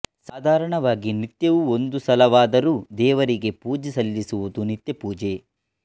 ಸಾಧಾರಣವಾಗಿ ನಿತ್ಯವೂ ಒಂದು ಸಲವಾದರೂ ದೇವರಿಗೆ ಪೂಜೆ ಸಲ್ಲಿಸುವುದು ನಿತ್ಯಪೂಜೆ